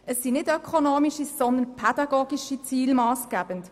Es sind nicht ökonomische, sondern pädagogische Ziele massgebend.